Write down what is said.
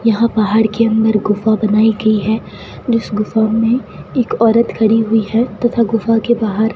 यहां पहाड़ के अंदर गुफा बनाई गई है जिस गुफा में एक औरत खड़ी हुई है तथा गुफा के बाहर --